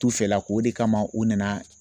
T'u fɛlako o de kama u nana